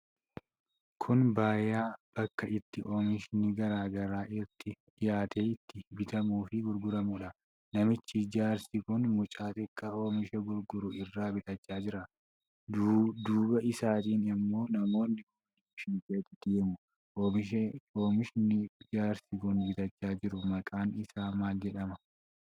Kun gabayaa bakka itti oomishni garaa garaa itti dhiyaatee itti bitamuufii gurguramuudha. Namichi jaarsi kun mucaa xiqqaa oomisha gurguru irraa bitachaa jira. Dudduuba isaanii ammoo namoonni oliifi gadi deemu. Oomishni jaarsi kun bitachaa jiru maqaan isaa maal jedhama?